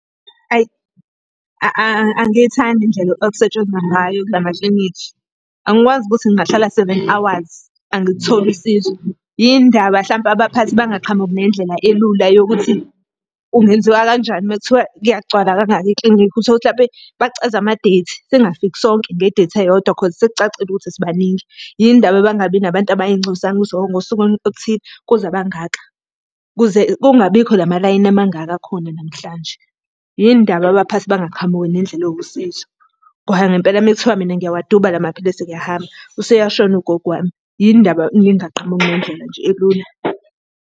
Ayi angiyithandi indlela okusetshenzwa ngayo kula maklinikhi. Angikwazi ukuthi ngingahlala seven hours angilitholi usizo. Yini ndaba hlampe abaphathi bangaqhamuki nendlela elula yokuthi kungenziwa kanjani uma kuthiwa kuyagcwala kangaka eklinikhi? Uthole ukuthi hlampe bacheza ama-date, singafiki sonke nge-date eyodwa cause sekucacile ukuthi sibaningi. Yini ndaba bangabi nabantu abayingcosana ukuthi hho ngosuku oluthile kuze abangaka? Ukuze kungabi bikho la malayini amangaka akhona namhlanje. Yini ndaba abaphathi bangaqhamuki nendlela ewusizo? Ngoba ngempela uma kuthiwa mina ngiyawaduba la maphilisi ngiyahamba, useyashona ugogo wami, yini ndaba ningaqhamuki nendlela nje elula?